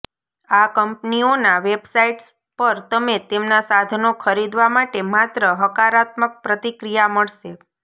આ કંપનીઓના વેબસાઇટ્સ પર તમે તેમના સાધનો ખરીદવા માટે માત્ર હકારાત્મક પ્રતિક્રિયા મળશે